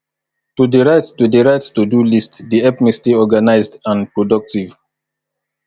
to dey write to dey write todo list dey help me stay organized and productive